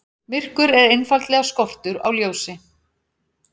Myrkur er einfaldlega skortur á ljósi.